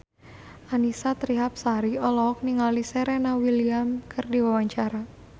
Annisa Trihapsari olohok ningali Serena Williams keur diwawancara